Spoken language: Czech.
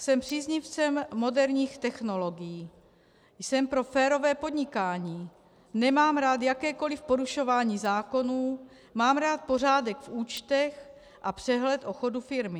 Jsem příznivcem moderních technologií, jsem pro férové podnikání, nemám rád jakékoli porušování zákonů, mám rád pořádek v účtech a přehled o chodu firmy.